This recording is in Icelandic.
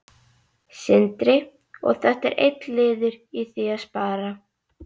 Sindri: Og þetta er einn liður í því að spara?